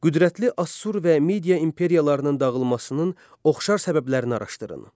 Qüdrətli Assur və Media imperiyalarının dağılmasının oxşar səbəblərini araşdırın.